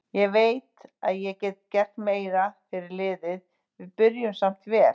Ég veit að ég get gert meira fyrir liðið, við byrjuðum samt vel.